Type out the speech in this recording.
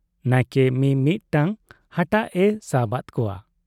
ᱱᱟᱭᱠᱮ ᱢᱤ ᱢᱤᱫᱴᱟᱹᱝ ᱦᱟᱴᱟᱜ ᱮ ᱥᱟᱵᱟᱫ ᱠᱚᱣᱟ ᱾